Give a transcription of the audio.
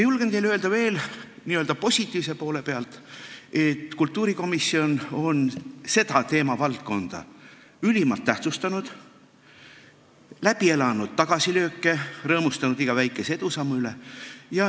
Julgen teile öelda veel n-ö positiivse poole pealt, et kultuurikomisjon on seda teemavaldkonda ülimalt tähtsustanud, on läbi elanud tagasilööke ja rõõmustanud iga väikese edusammu üle.